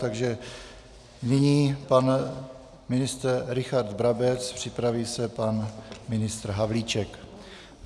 Takže nyní pan ministr Richard Brabec, připraví se pan ministr Havlíček.